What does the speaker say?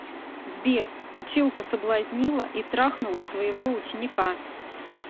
сбер училка соблазнила и трахнула своего ученика